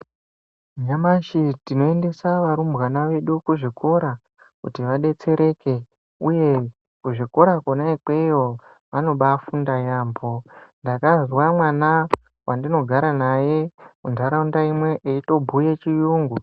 Nyamashi tinoendesa varumbwana vedu kuzvikora, kuti vadetsereke uye kuzvikora kona ikweyo vanobafunda yambo, ndakazwa mwana wandinogara naye mundaraunda imwe eyitobhuya chiyungu.